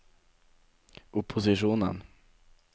opposisjonen